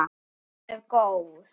Hún er góð.